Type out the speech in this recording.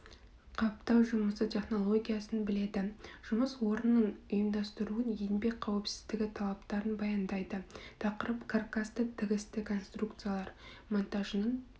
қаптау жұмысы технологиясын біледі жұмыс орнының ұйымдастыруын еңбек қауіпсіздігі талаптарын баяндайды тақырып каркасты тігісті конструкциялар монтажының